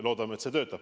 Loodame, et see töötab.